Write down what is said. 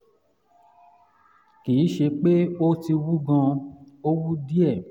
kì í ṣe pé ó ti wú gan-an ó wú díẹ̀